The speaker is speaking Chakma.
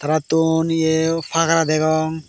te thon iye fhagara degong.